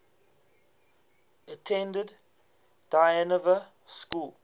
attended dynevor school